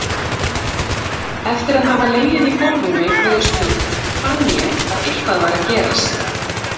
Eftir að hafa legið í gólfinu einhverja stund fann ég að eitthvað var að gerast.